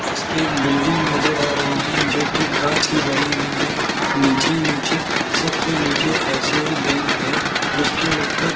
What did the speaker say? जिसमें एक बिल्डिंग नजर आ रही है जो कि कांच की बनी हुई है नीचे ही नीचे सबसे नीचे आई_सी_आई बैंक है उसके ऊपर --